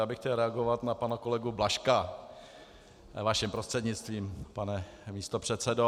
Já bych chtěl reagovat na pana kolegu Blažka vaším prostřednictvím, pane místopředsedo.